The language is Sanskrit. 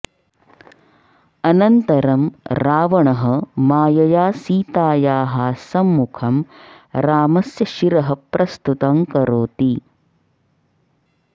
अनन्तरं रावणः मायया सीतायाः सम्मुखं रामस्य शिरः प्रस्तुतं करोति